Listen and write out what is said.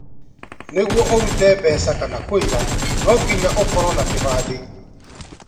Nĩguo ũrute mbeca kana kũiga no nginya ũkorwo na kĩbandĩ